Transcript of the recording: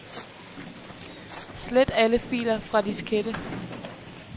Slet alle filer fra diskette.